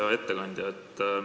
Hea ettekandja!